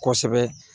Kosɛbɛ